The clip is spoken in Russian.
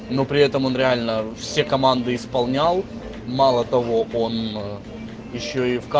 но при этом он реально все команды исполнял мало того он ещё и